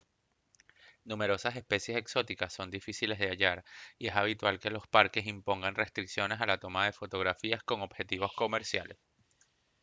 numerosas especies exóticas son difíciles de hallar y es habitual que los parques impongan restricciones a la toma de fotografías con objetivos comerciales